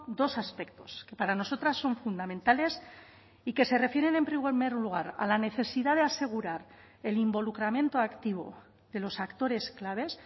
dos aspectos que para nosotras son fundamentales y que se refieren en primer lugar a la necesidad de asegurar el involucramiento activo de los actores claves